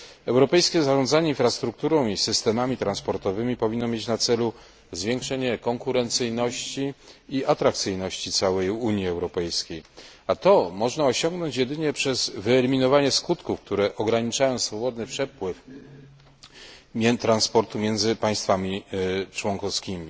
Europejskie zarządzanie infrastrukturą i systemami transportowymi powinno mieć na celu zwiększenie konkurencyjności i atrakcyjności całej Unii Europejskiej, a to można osiągnąć jedynie przez wyeliminowanie skutków, które ograniczają swobodny przepływ transportu między państwami członkowskimi.